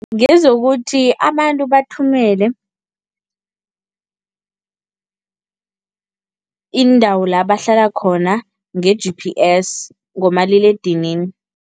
Ngezokuthi abantu bathumele iindawo la bahlala khona nge-G_P_S, ngomaliledinini.